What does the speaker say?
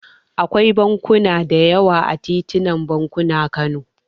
Akwai bankuna da yawa a titin bankuna, Kano.